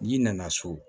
N'i nana so